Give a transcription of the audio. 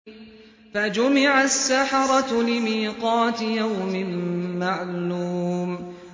فَجُمِعَ السَّحَرَةُ لِمِيقَاتِ يَوْمٍ مَّعْلُومٍ